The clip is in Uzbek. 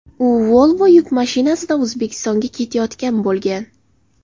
U Volvo yuk mashinasida O‘zbekistonga ketayotgan bo‘lgan.